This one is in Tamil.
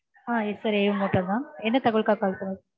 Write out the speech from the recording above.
Ah yes sir a one hotel தான். என்ன தகவலுக்காக call பண்ணிருக்கீங்க?